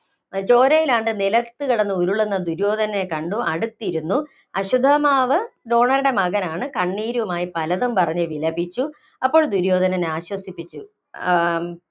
ചോരയിലാണ്ട് നിലത്തുകിടന്നുരുളുന്ന ദുര്യോധനനെ കണ്ടു അടുത്തിരുന്നു. അശ്വത്ഥമാവ് ദ്രോണരുടെ മകനാണ്. കണ്ണീരുമായി പലതും പറഞ്ഞു വിലപിച്ചു. അപ്പോള്‍ ദുര്യോധനൻ ആശ്വസിപ്പിച്ചു.